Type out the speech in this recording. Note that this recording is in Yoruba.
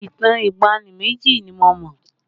Ìtàn ìgbàanì méjì ni mo mọ̀